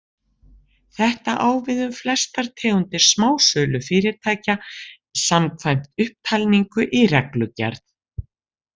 Þetta á við um flestar tegundir smásölufyrirtækja, samkvæmt upptalningu í reglugerð.